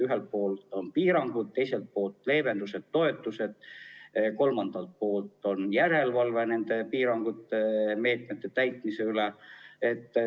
Ühelt poolt on piirangud, teiselt poolt leevendused ja toetused, kolmandalt poolt järelevalve nende piirangute ja meetmete täitmise üle.